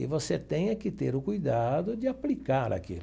E você tem que ter o cuidado de aplicar aquilo.